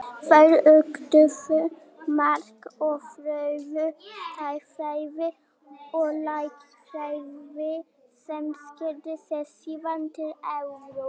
Sá hrapar oft lágt sem hreykist hátt.